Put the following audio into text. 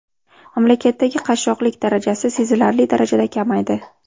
Mamlakatdagi qashshoqlik darajasi sezilarli darajada kamaydi.